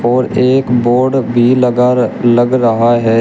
और एक बोर्ड भी लगा रह लग रहा है।